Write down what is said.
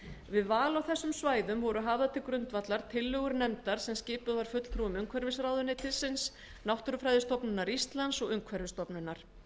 við val á þessum svæðum voru hafðar til grundvallar tillögur nefndar sem skipuð var fulltrúum umhverfisráðuneytisins náttúrufræðistofnunar íslands og umhverfisstofnunar